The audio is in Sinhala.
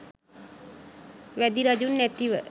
වැදි රජුන් නැතිව